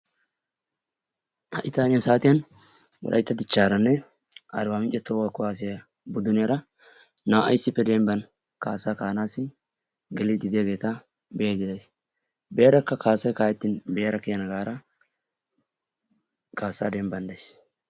wolayttan ha saatiyan wolaytta dichharanne arbaamincera naa'ay issipe demban ka'iiddi de'oososna, be'ada kiyana gaada kaasaa demban days.